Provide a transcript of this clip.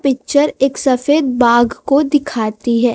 Picture एक सफेद बाघ को दिखाती है।